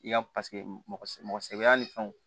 I ka paseke mɔgɔ sɛgɛn ni fɛnw